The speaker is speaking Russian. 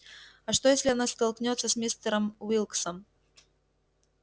а что если она столкнётся с мистером уилксом